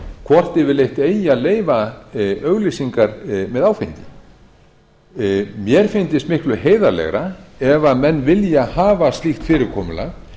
hvort yfirleitt eigi að leyfa auglýsingar með áfengi mér fyndist miklu heiðarlegra ef menn vilja hafa slíkt fyrirkomulag